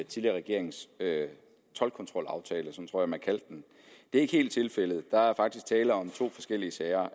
tidligere regerings toldkontrolaftale tror jeg man kaldte den det er ikke helt tilfældet der er faktisk tale om to forskellige sager